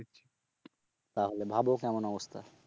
তাহলে ভাবো কেমন অবস্থা